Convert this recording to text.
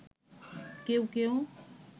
কেউ কেউ